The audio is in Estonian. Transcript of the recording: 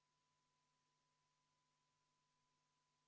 Me oleme 40. muudatusettepaneku juures ja esimese asjana teeme kohaloleku kontrolli.